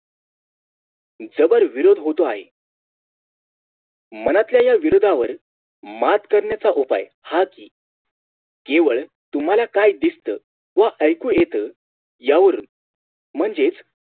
जबर विरोध होतो आहे मनातल्या या विरोधावर मात करण्याचा उपाय केवळ तुम्हाला काय दिसत व ऐकू येत यावरून म्हणजेच